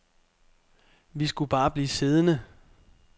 Vi skulle bare blive siddende.